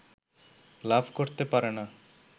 লাভ করতে পারে না